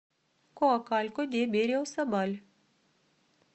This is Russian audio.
коакалько де берриосабаль